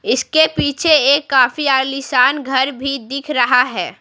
इसके पीछे एक काफी आलीशान घर भी दिख रहा है।